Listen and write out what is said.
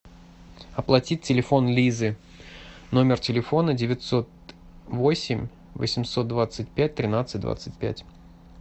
оплатить телефон лизы номер телефона девятьсот восемь восемьсот двадцать пять тринадцать двадцать пять